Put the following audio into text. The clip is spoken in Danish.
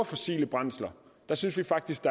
fossile brændsler synes vi faktisk